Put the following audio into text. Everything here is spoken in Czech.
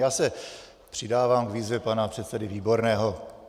Já se přidávám k výzvě pana předsedy Výborného.